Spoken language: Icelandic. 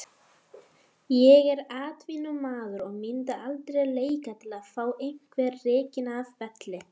Ég er atvinnumaður og myndi aldrei leika til að fá einhvern rekinn af velli.